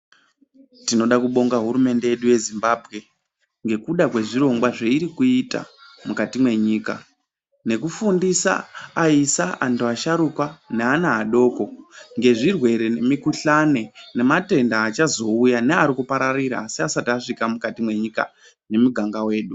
Tinoda kubonga hurumende yedu yezimbambwe ngekuda kwezvirongwa zveirikuita mukati mwenyika. Nefundisa aisa antu asharuka ngeana adoko ngezvirwere ngemikuhlani nematenda achazouya neari kuparira asi asati asvika mukati mwenyika nemuganga wedu.